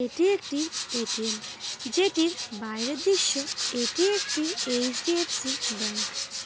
এটি একটি এ.টি.এম যেটির বাইরের দৃশ্য এটি একটি এইচ.ডি.এফ.সি ব্যাংক ।